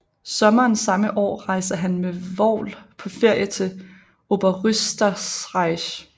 Sommeren samme år rejste han med Vogl på ferie til Oberösterreich